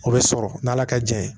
O bɛ sɔrɔ n'ala ka jɛn ye